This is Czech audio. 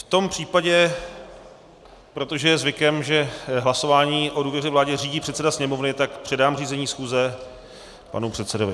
V tom případě, protože je zvykem, že hlasování o důvěře vládě řídí předseda Sněmovny, tak předám řízení schůze panu předsedovi.